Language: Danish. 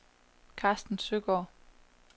Karsten Søgaard